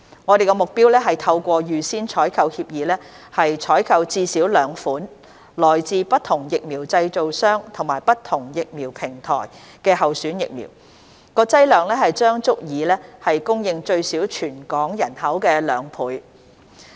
我們的目標是透過預先採購協議，採購至少兩款來自不同疫苗製造商及不同疫苗平台的候選疫苗，劑量將足以供應最少全港人口的兩倍。